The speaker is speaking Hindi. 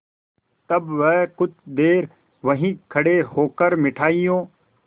तब वह कुछ देर वहीं खड़े होकर मिठाइयों